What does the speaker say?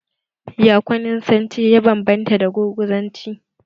Ya kwaninsanci ya ban banta da gurguzanci?